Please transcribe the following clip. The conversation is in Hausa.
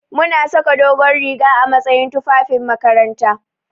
Muna saka dogon riga a matsayin fufafin makaranta.